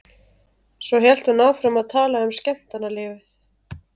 Svo hélt hún áfram að tala um skemmtanalífið.